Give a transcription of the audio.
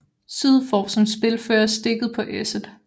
Syd får som spilfører stikket på Esset